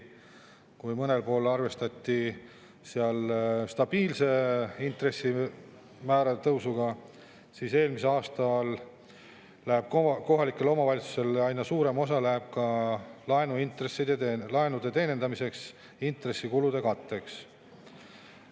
Kui mõnel pool arvestati stabiilse intressimäärade tõusuga, siis eelmisest aastast läheb kohalikel omavalitsustel aina suurem osa laenude teenindamiseks ja intressikulude katteks.